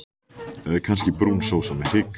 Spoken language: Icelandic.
Eða kannski brún sósa með hrygg?